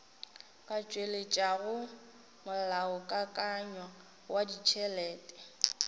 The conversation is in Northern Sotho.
ka tšweletšago molaokakanywa wa ditšhelete